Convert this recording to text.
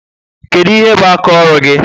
Kedu ihe bu aka ọrụ gị?